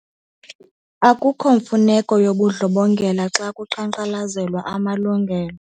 Akukho mfuneko yobundlobongela xa kuqhankqalazelwa amalungelo.